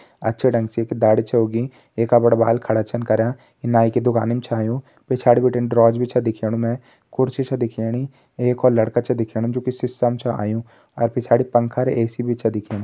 अच्छे ढंग से एक दाड़ी छ उगीं एका बड़ा बाल खड़ा छन कर्यां यी नाईं की दुकानीम मा छ आयुं पिछाड़ी बिटिन ड्रोज भी दिखेणु मैं कुर्सी छ दिखेणी एक और लड़का छ दिखणु जोकि सिसा मा चो आयुं और पिछाड़ी पंखा और ए.सी भी छ दिखेणी।